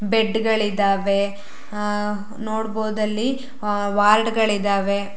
Bed ಗಳಿದಾವೆ ಅಹ್ ನೋಡಬಹುದು ಅಲ್ಲಿ ಅಹ್ ವಾರ್ಡ್ ಗಳಿದಾವೆ.